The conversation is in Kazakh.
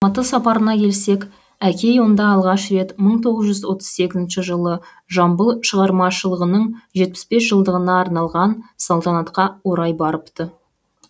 алматы сапарына келсек әкей онда алғаш рет мың тоғыз жүз отыз сегізінші жылы жамбыл шығармашылығының жетпіс бес жылдығына арналған салтанатқа орай барыпты